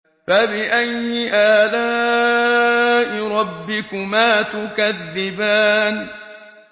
فَبِأَيِّ آلَاءِ رَبِّكُمَا تُكَذِّبَانِ